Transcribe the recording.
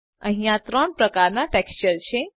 અહિયાં ત્રણ પ્રકારના ટેક્સચર છે